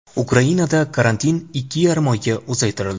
Ukrainada karantin ikki yarim oyga uzaytirildi.